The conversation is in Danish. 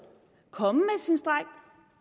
komme